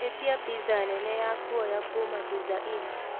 ĩtĩa piza nene ya kũoya kũma pizza inn